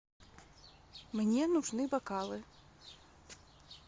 мне нужны бокалы